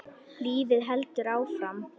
Lífið heldur áfram.